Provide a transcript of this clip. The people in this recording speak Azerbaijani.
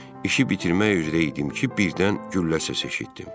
İşi bitirmək üzrə idim ki, birdən güllə səsi eşitdim.